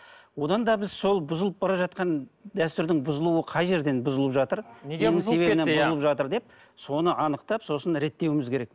одан да біз сол бұзылып бара жатқан дәстүрдің бұзылуы қай жерден бұзылып жатыр бұзылып жатыр деп соны анықтап сосын реттеуіміз керек